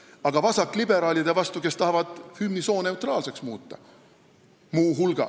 Aga vasakliberaalide eest, kes tahavad muu hulgas hümni sooneutraalseks muuta!